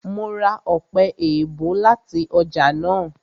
Mo ra ọpẹ-èèbó láti ọjà náà